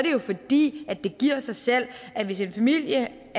jo fordi det giver sig selv at hvis en familie